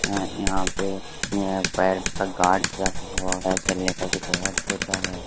यहां पे पैर का गार्ड्स रखा है ।